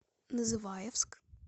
называевск